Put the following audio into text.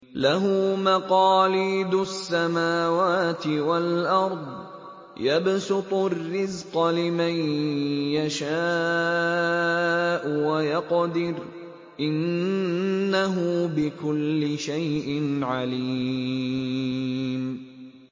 لَهُ مَقَالِيدُ السَّمَاوَاتِ وَالْأَرْضِ ۖ يَبْسُطُ الرِّزْقَ لِمَن يَشَاءُ وَيَقْدِرُ ۚ إِنَّهُ بِكُلِّ شَيْءٍ عَلِيمٌ